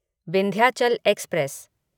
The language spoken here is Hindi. विंध्याचल एक्सप्रेस